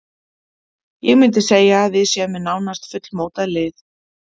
Ég myndi segja að við séum með nánast fullmótað lið.